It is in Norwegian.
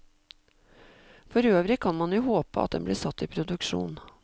Forøvrig kan man jo håpe at den blir satt i produksjon.